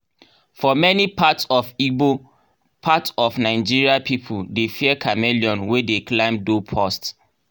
for many parts of igbo parts of nigeria people dey fear chameleon wey dey climb doorpost.